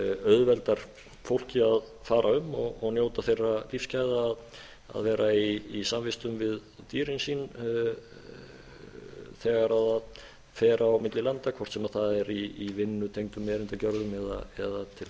auðveldar fólki að fara um og njóta þeirra lífsgæða að vera í samvistum við dýrin sín þegar það fer á milli landa hvort sem það er í vinnutengdum erindagjörðum eða til þess